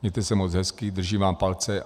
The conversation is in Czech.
Mějte se moc hezky, držím vám palce.